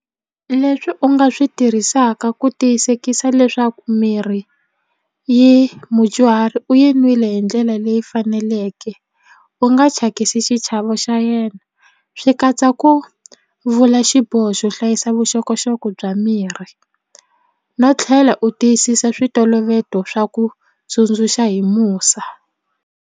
Leswi u nga swi tirhisaka ku tiyisekisa leswaku mirhi yi mudyuhari u yi n'wile hi ndlela leyi faneleke u nga thyakisi xichavo xa yena swi katsa ku vula xiboho xo hlayisa vuxokoxoko bya mirhi no tlhela u tiyisisa switoloveto swa ku tsundzuxa hi musa.